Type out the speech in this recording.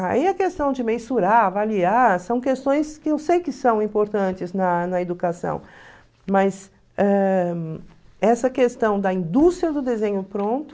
Aí a questão de mensurar, avaliar, são questões que eu sei que são importantes na na educação, mas eh essa questão da indústria do desenho pronto...